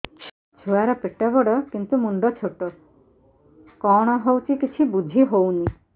ଛୁଆର ପେଟବଡ଼ କିନ୍ତୁ ମୁଣ୍ଡ ଛୋଟ କଣ ହଉଚି କିଛି ଵୁଝିହୋଉନି